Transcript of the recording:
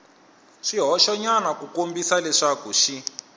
swihoxonyana ku kombisa leswaku xi